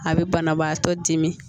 A bɛ banabaatɔ dimi